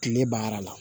Kile banna la